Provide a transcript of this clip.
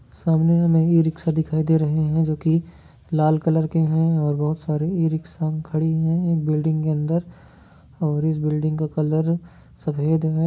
सामने में एक रिक्शा दिखाई दे रही है जो क लाल कलर की है और बहुत सारी इ रिक्शा खड़ी है ये बिलिंग के अंदर ओर ये बिल्डिंग्स का कलर सफ़ेद।